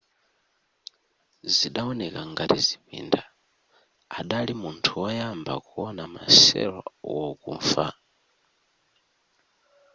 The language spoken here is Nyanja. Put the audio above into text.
zidawoneka ngati zipinda adali munthu woyamba kuwona ma cello wokufa